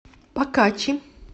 покачи